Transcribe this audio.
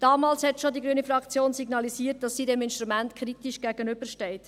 Damals hat die grüne Fraktion schon signalisiert, dass sie diesem Instrument kritisch gegenübersteht.